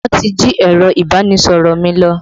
Wọn ti jí ẹ̀rọ ìbánisọ̀rọ̀ mi lọ